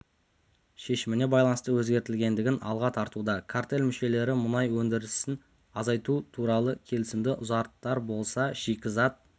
шешіміне байланысты өзгеретіндігін алға тартуда картель мүшелері мұнай өндірісін азайту туралы келісімді ұзартар болса шикізат